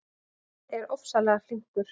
Hann er ofsalega flinkur.